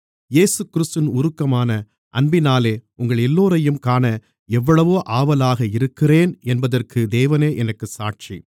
இயேசுகிறிஸ்துவின் உருக்கமான அன்பினாலே உங்களெல்லோரையும் காண எவ்வளவோ ஆவலாக இருக்கிறேன் என்பதற்கு தேவனே எனக்குச் சாட்சி